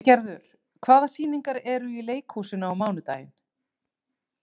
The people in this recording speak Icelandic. Eygerður, hvaða sýningar eru í leikhúsinu á mánudaginn?